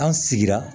An sigira